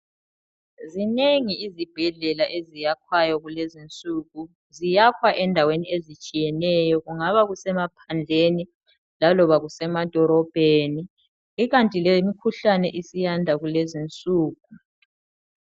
Zinengi izibhedlela eziyakhwayo kulezinsuku, ziyakhwa endaweni ezitshiyeneyo kungaba kusemaphandleni laloba kusemadolobheni kukanti lemikhuhlane siyanda kulezinsuku.